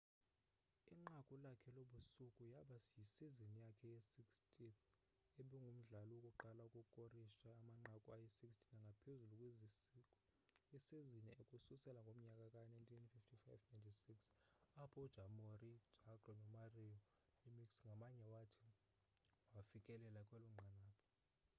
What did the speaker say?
inqaku lakhe lobusuku yaba yisizini yakhe ye 60th ebangumdlali wokuqala ukukorisha amanqaku ayi 60 nangaphezulu kwisizini ukususela ngomnyaka ka 1995-96 apho u jaromir jagr no mario lemieux ngamnye wathi wafikelela kwelonqanaba